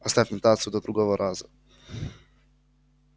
оставь нотацию до другого раза